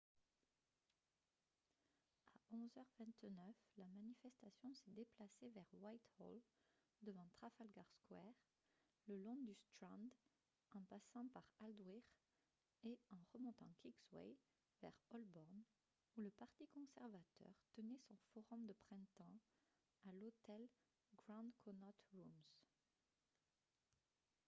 à 11 h 29 la manifestation s'est déplacée vers whitehall devant trafalgar square le long du strand en passant par aldwych et en remontant kingsway vers holborn où le parti conservateur tenait son forum de printemps à l'hôtel grand connaught rooms